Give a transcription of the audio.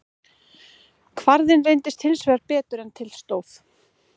Kvarðinn reyndist hins vegar betur en til stóð.